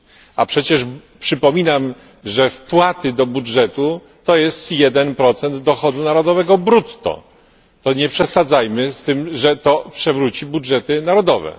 a przecież przypominam wpłaty do budżetu to 1 procent dochodu narodowego brutto to nie przesadzajmy z tym, że to przewróci budżety narodowe.